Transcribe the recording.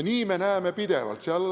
Seda me näeme pidevalt.